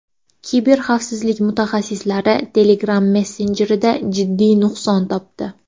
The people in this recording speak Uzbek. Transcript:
Kiberxavfsizlik mutaxassislari Telegram messenjerida jiddiy nuqson topdi.